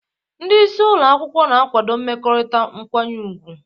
Ndị isi ụlọ akwụkwọ na-akwado mmekọrịta nkwanye ùgwù.